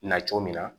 Na cogo min na